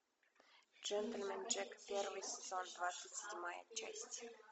джентльмен джек первый сезон двадцать седьмая часть